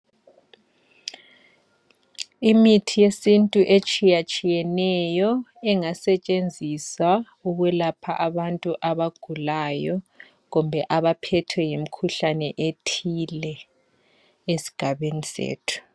Imithi yesintu etshiyatshiyeneyo engasetshenziswa ukwelapha abantu abagulayo kumbe abaphethwe yimikhuhlane ethile esigabeni sethu.